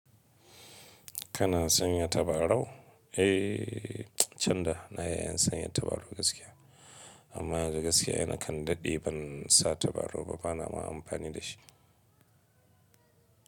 Kana sanya tabarau? Eh, can da na yi sanya tabarau gaskiya. Amma yanzu gaskiya na kan daɗe ban sa tabarau ba, bana ma amfani da shi.